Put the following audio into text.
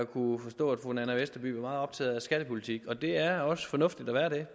kunne forstå at fru nanna westerby var meget optaget af skattepolitik det er også fornuftigt at være det